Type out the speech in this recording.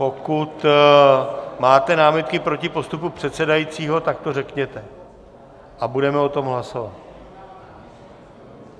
Pokud máte námitky proti postupu předsedajícího, tak to řekněte a budeme o tom hlasovat.